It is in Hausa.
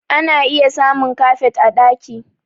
Ana iya samun kafet a ɗaki